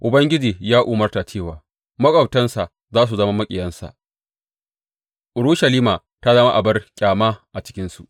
Ubangiji ya umarta cewa maƙwabtansa za su zama maƙiyansa; Urushalima ta zama abar ƙyama a cikinsu.